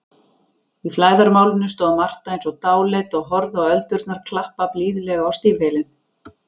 Í flæðarmálinu stóð Marta eins og dáleidd og horfði á öldurnar klappa blíðlega á stígvélin.